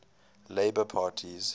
labour parties